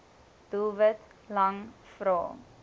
doelwit lang vrae